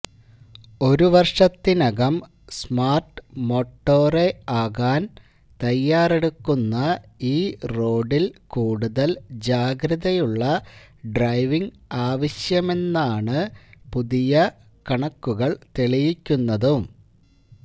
ഒരു വര്ഷത്തിനകം smart motorway ആകാന് തയ്യാറെടുക്കുന്ന ഈ റോഡില് കൂടുതല് ജാഗ്രതയുള്ള ഡ്രൈവിംഗ് ആവശ്യമാണെന്നാണ് പുതിയ കണക്കുകള് തെളിയിക്കുന്നതും